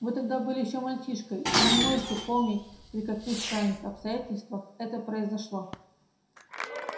вы тогда были ещё мальчишкой и не можете помнить при каких странных обстоятельствах это произошло